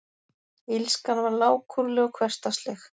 Illskan var lágkúruleg og hversdagsleg.